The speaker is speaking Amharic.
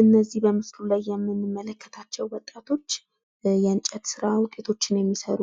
እነዚህ በምስሉ ላይ የምንመለከታቸው ወጣቶች የእንጨት ስራ ውጤቶችን የሚሰሩ